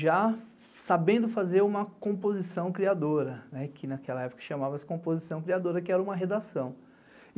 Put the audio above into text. já sabendo fazer uma composição criadora, que naquela época chamava-se composição criadora, que era uma redação.